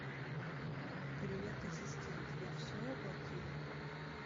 привет ассистент я все оплатила